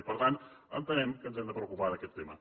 i per tant entenem que ens hem de preocupar d’aquest tema